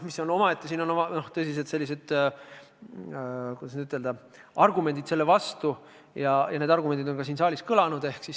Siin on omaette sellised tõsised, kuidas ütelda, vastuargumendid – ja need argumendid on ka siin saalis kõlanud.